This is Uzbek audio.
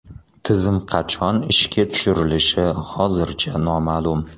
Tizim qachon ishga tushirilishi hozircha noma’lum.